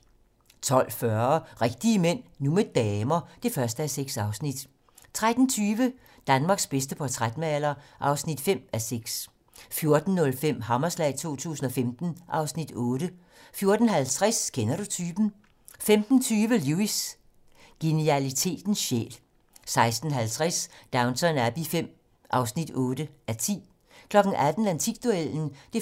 12:40: Rigtige mænd - nu med damer (1:6) 13:20: Danmarks bedste portrætmaler (5:6) 14:05: Hammerslag 2015 (Afs. 8) 14:50: Kender du typen? 15:20: Lewis: Genialitetens sjæl 16:50: Downton Abbey V (8:10) 18:00: Antikduellen (1:20)